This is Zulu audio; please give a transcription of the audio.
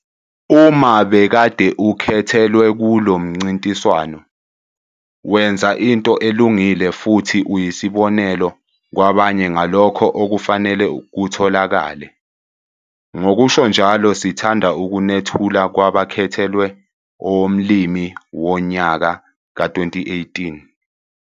Uma bekade ukhethelwe kulo mncintiswano, wenza into elungile futhi uyisibonelo kwabanye ngalokho okufanele kutholakale. Ngokusho njalo, sithanda ukunethula kwabakhethelwe owoMlimi woNyaka ka-2018!